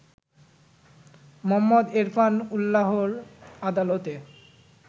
মোহাম্মদ এরফান উল্লাহ'র আদালতে